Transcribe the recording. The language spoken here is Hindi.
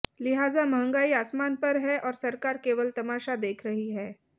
लिहाजा महंगाई आसमान पर है और सरकार केवल तमाशा देख रही है